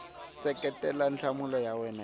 seketela nhlamulo ya wena hi